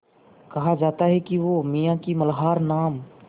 कहा जाता है कि वो मियाँ की मल्हार नाम